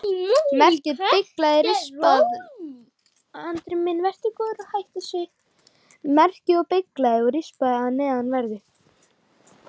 Merkið er beyglað og rispað að neðanverðu.